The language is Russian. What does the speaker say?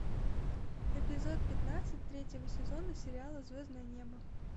эпизод пятнадцать третьего сезона сериала звездное небо